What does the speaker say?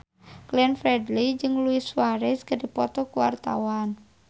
Glenn Fredly jeung Luis Suarez keur dipoto ku wartawan